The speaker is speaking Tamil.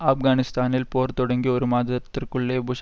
ஆப்கானிஸ்தானில் போர் தொடங்கி ஒரு மாதத்திற்குள்ளே புஷ்